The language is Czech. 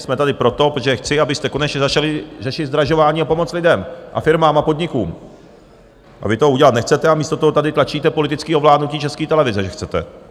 Jsme tady proto, protože chci, abyste konečně začali řešit zdražování a pomoc lidem a firmám a podnikům, a vy to udělat nechcete a místo toho tady tlačíte politické ovládnutí České televize, že chcete.